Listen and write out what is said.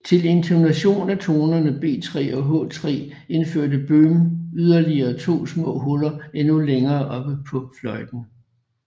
Til intonation af tonerne B3 og H3 indførte Böhm yderligere to små huller endnu længere oppe på fløjten